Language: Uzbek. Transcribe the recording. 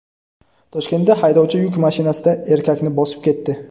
Toshkentda haydovchi yuk mashinasida erkakni bosib ketdi.